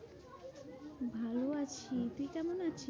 ভালো আছি। তুই কেমন আছিস?